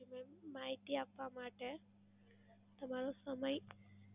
હા મેમ માહિતી આપવા માટે તમારો સમય,